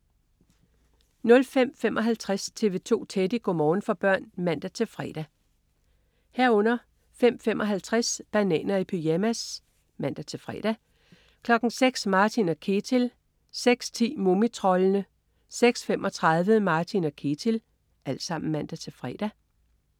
05.55 TV 2 Teddy. Go' morgen for børn (man-fre) 05.55 Bananer i pyjamas (man-fre) 06.00 Martin & Ketil (man-fre) 06.10 Mumitroldene (man-fre) 06.35 Martin & Ketil (man-fre)